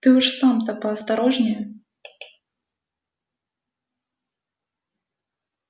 ты уж сам-то поосторожнее